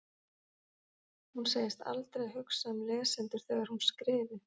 Hún segist aldrei hugsa um lesendur þegar hún skrifi.